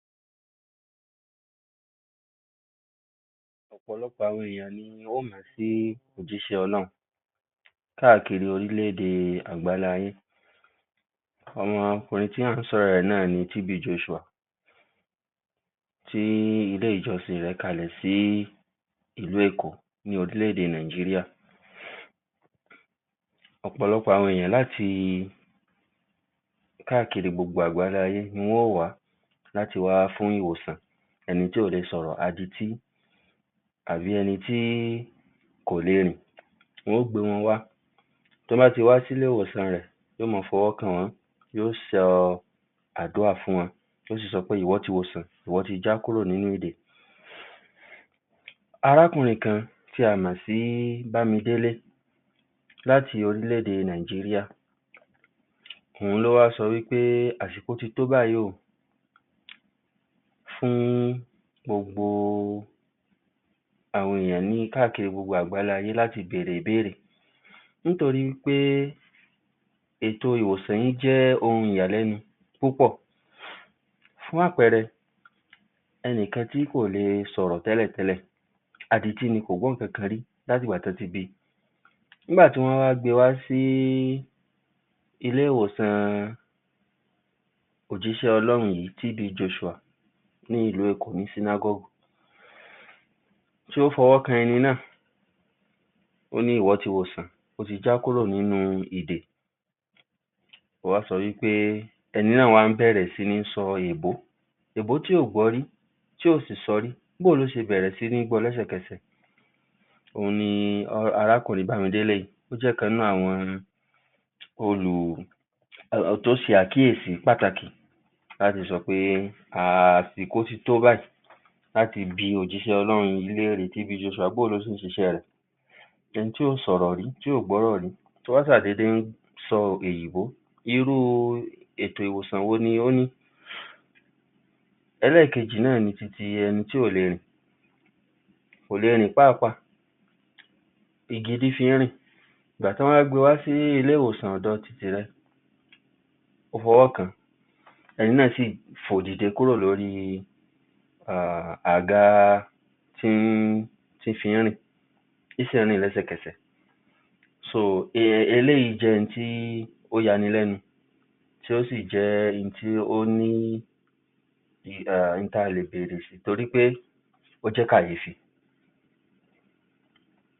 Ọpọ ̀ lọpọ ̀ ènìyàn ló mọ ̀ sí ọ ̀ jísẹ ̀ Ọlọ ́ run ká kiri orílẹ ̀-èdè agbálayé Ọmọkùnrin tí a sọ ọ ̀ rọ ̀ rẹ ̀ nǹkan yìí TB Joshua tí ilé ìjọsìn rẹ ̀ kàlẹ ̀ sí ìlú Èkó ní orílẹ ̀-èdè Nàìjíríà Ọpọ ̀ ènìyàn láti ká kiri agbálayé ni wón wá láti wá fún ìwòsàn tí kò le sọ ̀ rọ ̀ àdítí àbí ẹni tí kò le rìn Wón gbé wón wá tí wón bá sì wá sí ilé ìwòsàn rẹ ̀ yóó máa fọwọ ́ kan wón yóó sọ adúrà fún wón yóó sọ ìwòsàn ìwọ ti wòṣàn ìwọ ti já kúrò nínú ìdè Arákùnrin kan tí a mọ ̀ sí Bamidele láti orílẹ ̀-èdè Nàìjíríà ó ní ó wá sọ pé àṣíko ti tó báyìí fún gbogbo ènìyàn káàkiri gbogbo agbálayé láti bẹ ̀ rẹ ̀ nítorí pé ètò ìwòsàn yìí jẹ ́ ohun ìyàlẹ ́ nu púpọ ̀ Fún àpẹẹrẹ ẹni kan tí kò lè sọ ̀ rọ ̀ tẹ ́ lẹ ̀ tẹ ́ lẹ ̀ àdítí ni kò gbọ ́ ìkànkàn rí látìgbà tí wón bí i Nígbà tí wón gbé e wá sí ilé ìwòsàn ọ ̀ jísẹ ̀ Ọlọ ́ run yìí TB Joshua ní ìlú Èkó tí ó fi ọwọ ́ kan ènìyàn náà ó ní Ìwọ ti wòṣàn o ti já kúrò nínú ìdè Ènìyàn náà bẹ ̀ rẹ ̀ sí ní sọ ̀ rọ ̀ ẹ ̀ bọ tí kò gbọ ́ rí bẹ ́ ẹ ̀ lo ṣe bẹ ̀ rẹ ̀ sí ní gbọ ́ lẹ ́ sẹ ̀ kẹsẹ ̀ Ọnà ni arákùnrin Bamidele jẹ ́ ìkànnì nínú àwọn olùtọ ́ sẹ ̀ àkíyèsí pàtàkì láti sọ pé àsìkò ti tó báyìí láti bi ọ ̀ jísẹ ̀ Ọlọ ́ run yìí lẹ ́ rìí báwo ló ṣe ṣe iṣẹ ́ rẹ ̀? Ènìyàn tí kò sọ ̀ rọ ̀ rí tí kò gbọ ́ ohùn tí ó wá ṣàdédé sọ èdè oyinbó Ìru ètò ìwòsàn wònyí lónìí èkejì ni pé ẹni tí kò le rìn kò le rìn rárá pàápàá igi lo fi ń rìn Nígbà tí wón gbé e wá sí ilé ìwòsàn tí ẹ ẹni náà sọ fó dìde kúrò lórí àga tí wón fi ń rìn ó sì rìn lẹsẹkẹsẹ ̀ Ó so èyí jẹ ́ tí ò yá ní lẹ ́ nu Ó ti jẹ ́ ohun tí ó ń tori pé o jẹ ́ káyé fi